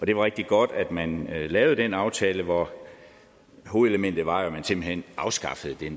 det var rigtig godt at man lavede den aftale hvor hovedelementet jo var at man simpelt hen afskaffede det